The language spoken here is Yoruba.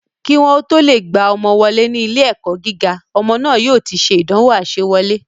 Kí wọ́n o tó lè gba ọmọ wọlé ní ilé ẹ̀kọ́ gíga, ọmọ náà yóò ti se ìdánwò àsewọlé